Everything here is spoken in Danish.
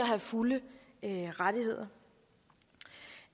have fulde rettigheder